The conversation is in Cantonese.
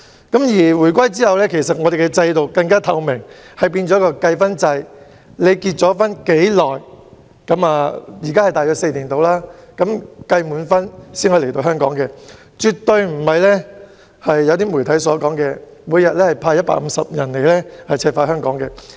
自回歸後，單程證制度更加透明，變成計分制，現在大約是結婚4年計5分，達到一定分數才能來港，絕對不是部分媒體所說，由中央每天派150人來赤化香港。